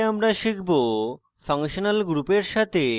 in tutorial আমরা শিখব: